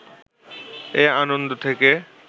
এ আনন্দ থেকে